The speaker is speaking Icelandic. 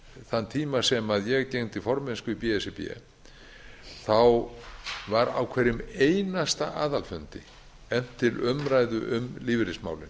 þann tíma sem ég gegndi formennsku í b s r b var á hverjum einasta aðalfundi efnt til umræðu um lífeyrismálin